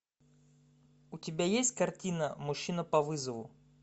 у тебя есть картина мужчина по вызову